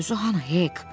Bəs özü hanı, Hek?